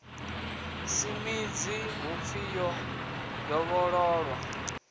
si minzhi hunzhi yo dovhololwa